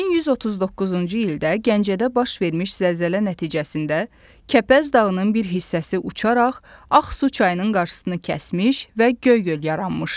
1139-cu ildə Gəncədə baş vermiş zəlzələ nəticəsində Kəpəz dağının bir hissəsi uçaraq Ağsu çayının qarşısını kəsmiş və Göy-göl yaranmışdı.